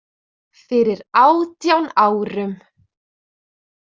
Fyrir átján árum.